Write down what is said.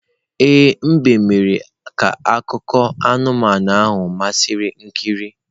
Ee, mbe mere ka akụkọ anụmanụ ahụ masịrị ikiri.